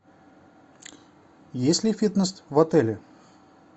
есть ли фитнес в отеле